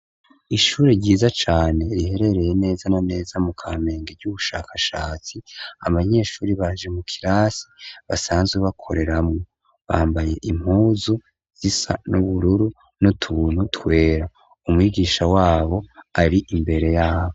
Ishure ryiza cane riherereye nea na neza mu Kamenge ry'ubushakashatsi abanyeshure baje mu kirasi basanzwe bakoreramwo bambaye impuzu siza n'ubururu n'utuntu twera umwigisha ari imbere yabo.